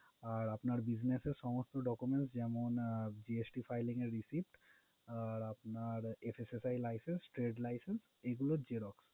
আর আপনার business এর সমস্ত documents যেমন GSTfiling এর receipt, আর আপনার SSSI license, trade licence এগুলোর xerox